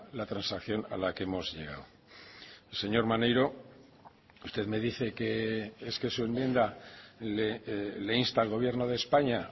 la transacción a la que hemos llegado señor maneiro usted me dice que es que su enmienda le insta al gobierno de españa